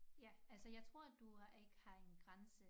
Ja altså jeg tror at du har ikke har en grænse